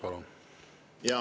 Palun!